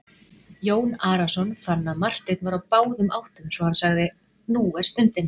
Jón Arason fann að Marteinn var á báðum áttum svo hann sagði:-Nú er stundin!